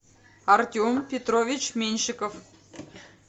артем петрович меньшиков